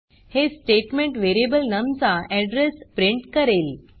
हे statement variable num चा address print करेल